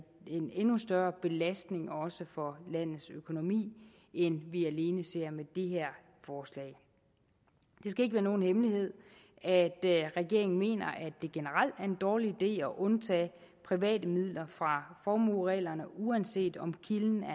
en endnu større belastning også for landets økonomi end vi alene ser med det her forslag det skal ikke være nogen hemmelighed at regeringen mener det generelt er en dårlig idé at undtage private midler fra formuereglerne uanset om kilden er